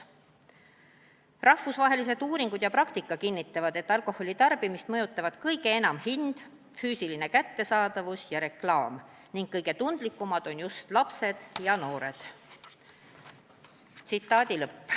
Rahvusvahelised uuringud ja praktika kinnitavad, et alkoholi tarvitamist mõjutavad kõige enam hind, füüsiline kättesaadavus ja reklaam ning kõige hinnatundlikumad on lapsed ja noored.